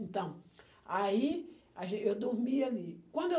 Então, aí a gen eu dormia ali. Quando eu